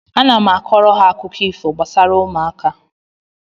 Ana m kọọrọ ha akụkọ ifo gbasara ụmụaka